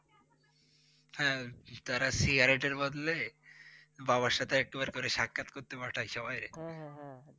হ্যাঁ! তারা Cigarette এর বদলে বাবার সাথে একটিবার করে সাক্ষাৎ করতে পাঠায় সবাইরে। হম হম